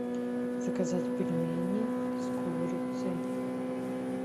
заказать пельмени с курицей